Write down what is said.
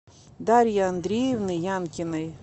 дарьи андреевны янкиной